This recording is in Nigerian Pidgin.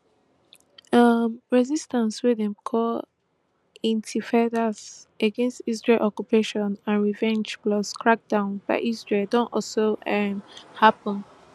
um resistance wey dem call intifadas against israel occupation and revenge plus crackdowns by israel don also um happun